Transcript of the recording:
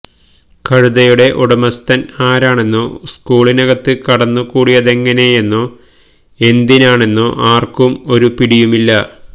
കഴുതയുടെ ഉടമസ്ഥന് ആരാണെന്നോ സ്കൂളിനകത്ത് കടന്നു കൂടിയതെങ്ങനെയെന്നോ എന്തിനാണെന്നോ ആര്ക്കും ഒരു പിടിയുമില്ല